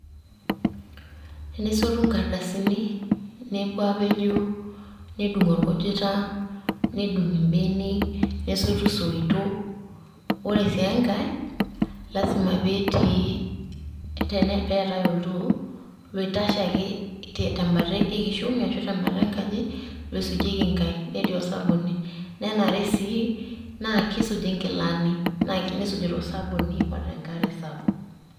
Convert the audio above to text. tenesotu inkardasini nepuo aapejoo, nedung' orkujota nedung' ibenek, nesotu isoitok, ore sii enkae lazima neetae oltoo, oitashe ake tebata ekishomi ashu tebata enkaji, loisujieki inkaek. netii osabuni, nenare sii naa kisuji inkilani tosabuni o tenkare sapuk.